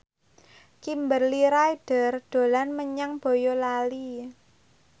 Kimberly Ryder dolan menyang Boyolali